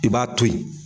I b'a to yen